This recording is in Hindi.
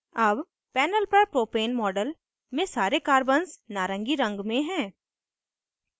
अब panel पर propane model में सारे carbons नारंगी रंग में हैं